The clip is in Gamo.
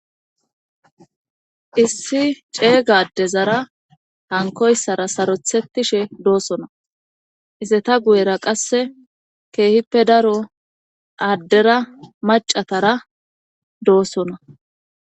Issi ceega adezara hankoyssara sarothettishe doosona iseta guyera qasse keehippe daro aaddera macatara doosona.